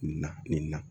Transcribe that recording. Na nin na